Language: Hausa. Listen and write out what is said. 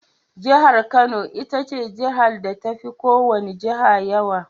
Jihar Kano itace jihar da tafi ko wani Jihar yawa.